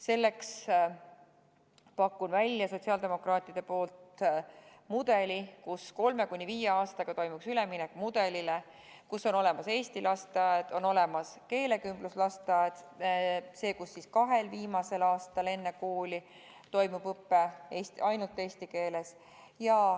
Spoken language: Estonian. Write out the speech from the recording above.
Selleks pakun sotsiaaldemokraatide poolt välja lahenduse, mille kohaselt kolme kuni viie aastaga toimuks üleminek mudelile, et on olemas eesti lasteaed ja on olemas keelekümbluslasteaed, kus kahel viimasel aastal enne kooli toimub õpe ainult eesti keeles.